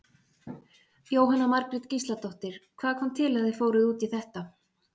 Jóhanna Margrét Gísladóttir: Hvað kom til að þið fóruð út í þetta?